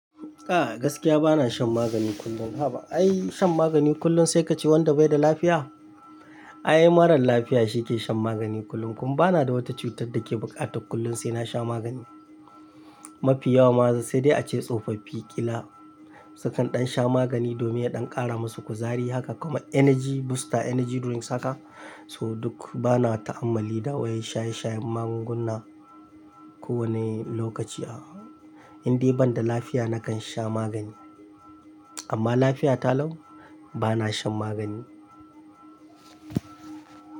Gaskiya bana shan maganin kullum haba ai shan maganin kullum sai ka ce wanda bai da lafiya. Ai marar lafiya shi ke shan magani kullum. Bana da wata cutar dake bukatae kullum na sha maganin. Mafi yawa ma sai dai ace tsofaffi, ƙila sukan ɗan sha magani domin ya ɗan ƙara masu kuzari haka kuma energy booster, energy drinks haka. Toh duk bana ta hamali da wai shaye-shayen magunguna ko wani lokaci. A'a, indai banda lafiya nakan sha magani. Amma lafiya ta lau bana shan magani.